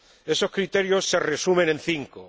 Esos criterios se resumen en cinco.